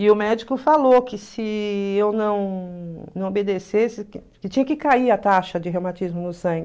E o médico falou que se eu não não obedecesse, que tinha que cair a taxa de reumatismo no sangue.